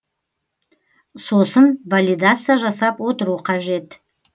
сосын валидация жасап отыру қажет